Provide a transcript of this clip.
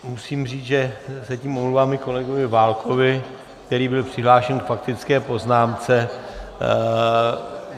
Musím říct, že se tím omlouvám i kolegovi Válkovi, který byl přihlášen k faktické poznámce.